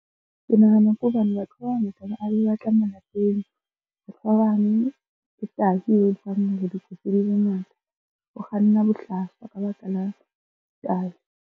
Ke nahana ke hobane batho ba bangata ba be ba tla malapeng. Batho ba bang ke tai e etsang hore ditsotsi di be ngata, o kganna bohlaswa ka baka la tai.